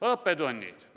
Õppetunnid.